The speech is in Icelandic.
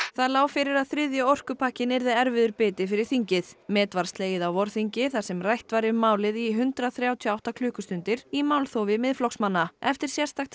það lá fyrir að þriðji orkupakkinn yrði erfiður biti fyrir þingið met var slegið á vorþingi þar sem rætt var um málið í hundrað þrjátíu og átta klukkustundir í málþófi Miðflokksmanna eftir sérstakt